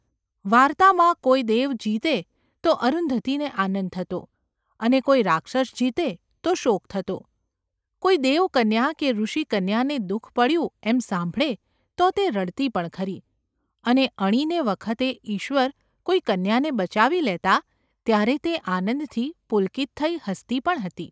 વાર્તામાં કોઈ દેવ જીતે તો અરુંધતીને આનંદ થતો, અને કોઈ રાક્ષસ જીતે તો શોક થતો; કોઈ દેવકન્યા કે ઋષિકન્યાને દુ:ખ પડ્યું એમ સાંભળે તો તે રડતી પણ ખરી, અને અણીને વખતે ઈશ્વર કોઈ કન્યાને બચાવી લેતા ત્યારે તે આનંદથી ​ પુલક્તિ થઈ હસતી પણ હતી.